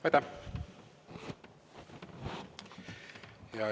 Aitäh!